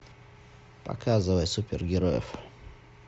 показывай супергероев